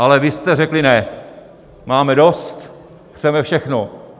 Ale vy jste řekli: Ne, máme dost, chceme všechno.